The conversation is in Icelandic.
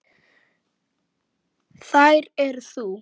Þær eru þú.